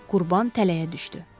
Qurban tələyə düşdü.